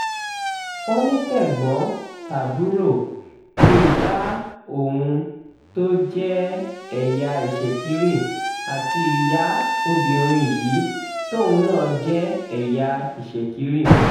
ó ní tẹ̀gbọ́n-tàbúrò ni ìyá òun tó jẹ́ ẹ̀yà ìṣekiri àti ìyá obìnrin yìí tóun náà jẹ́ ẹ̀yà ìṣekiri